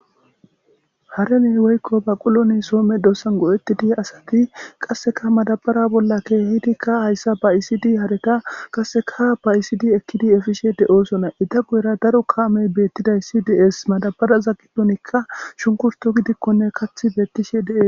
Haaten woykko baqqulo so medisan go'etidi asati qasekkamadabara bolla kehidikka hayssa ba'isidi haareta ba'isidi ekidi efishe de'osona eta guyerakka daro kamey betishe de'osona madabaraza gidon shunkkurttokko gidikonne kaaththi betishe de'es.